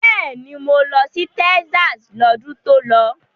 Bẹ́ẹ̀ni, mo lọ sí Texas lọ́dún tó lọ.